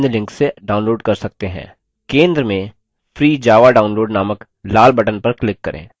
केन्द्र में free java download नामक लाल button पर click करें